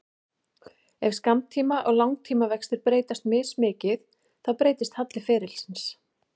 Ef skammtíma- og langtímavextir breytast mismikið þá breytist halli ferilsins.